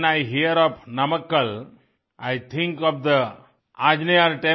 when I hear of Namakkal I think of the Anjaneyar